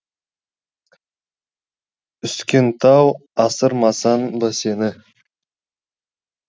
үскен тау асырмасам ба сені